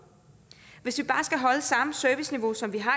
hvis vi bare skal holde samme serviceniveau som vi har